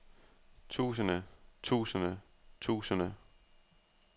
tusinde tusinde tusinde